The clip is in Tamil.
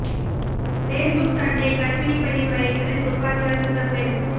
பேஸ் புக் சண்டை கர்ப்பிணி பெண்ணின் வயிற்றில் துப்பாக்கியால் சுட்ட பெண்